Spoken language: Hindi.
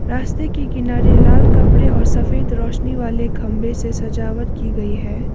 रास्ते के किनारे लाल कपड़े और सफेद रोशनी वाले खंभे से सजावट की गई है।